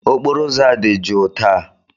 Okporo ụzọ a dị jụụ taa